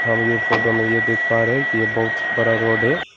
Photo में यह देख पा रहे हैं कि यह बहुत बड़ा रोड है।